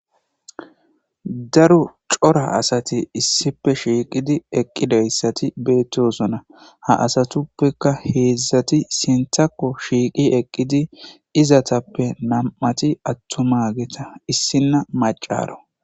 Daro cora asati issife shiiqidi eqqidayssati beettosona ha asatuppeka heedzdzati sintako shiiqi eqqidi izatappe nam'ati attuma geeta issinna macaro.